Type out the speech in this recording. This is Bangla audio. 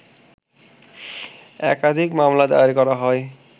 একাধিক মামলা দায়ের করা হয়